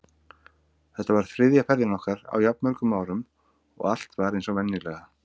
Þetta var þriðja ferðin okkar á jafn mörgum árum og allt var eins og venjulega.